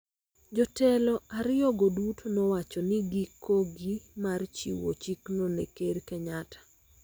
jotelo ariyogo duto nowacho ni giikogi mar chiwo chikno ne Ker Kenyatta.